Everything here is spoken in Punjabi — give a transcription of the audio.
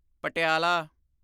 ਪਟਿਆਲਾ